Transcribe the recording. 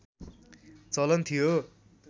चलन थियो